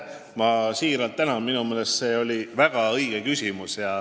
Ma siiralt tänan, minu meelest see on väga õige küsimus.